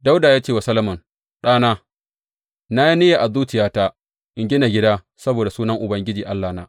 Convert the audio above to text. Dawuda ya ce wa Solomon, Ɗana, na yi niyya a zuciyata in gina gida saboda Sunan Ubangiji Allahna.